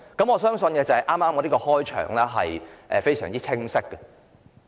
我相信我的引言非常清晰。